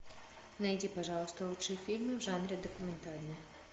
найди пожалуйста лучшие фильмы в жанре документальный